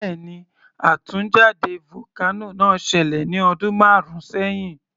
Bẹ́ẹ̀ni, àtúnjáde vocano náà ṣẹlẹ̀ ní ọdún márùn sẹhin